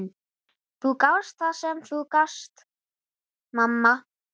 Þú gafst það sem þú gast, mamma.